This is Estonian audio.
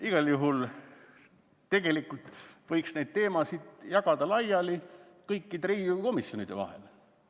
Igal juhul tegelikult võiks neid teemasid laiali jagada kõikide Riigikogu komisjonide vahel.